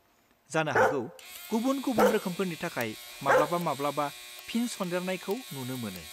जानो हागौ गुबुन-गुबुन रोखोमफोरनि थाखाय माब्लाबा-माब्लाबा फिन-सन्देरनायखौ नुनो मोनो।